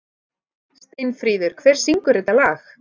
Steinfríður, hver syngur þetta lag?